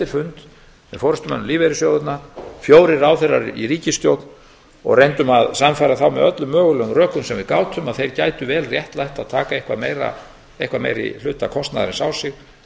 með forustumönnum lífeyrissjóðanna fjórir ráðherrar í ríkisstjórn og reyndum að sannfæra þá með öllum mögulegum rökum sem við gátum að þeir gætu vel réttlætt að taka eitthvað meiri hluta af kostnaðinum á sig